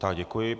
Já děkuji.